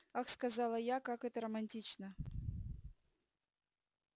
ах сказала я как это романтично